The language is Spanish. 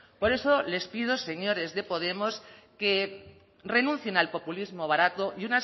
por eso les pido señores de podemos que renuncien al populismo barato y